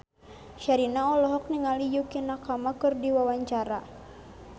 Sherina olohok ningali Yukie Nakama keur diwawancara